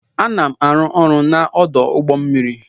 Ana m arụ ọrụ n'ọdụ ụgbọ mmiri.